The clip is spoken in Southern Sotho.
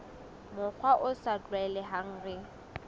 mokgwa o sa tlwaelehang re